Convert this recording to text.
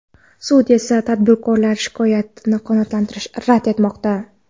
Sud esa tadbirkor shikoyatini qanoatlantirishni rad etmoqda.